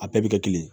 A bɛɛ bɛ kɛ kelen ye